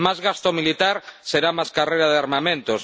Más gasto militar será más carrera de armamentos.